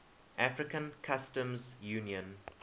african customs union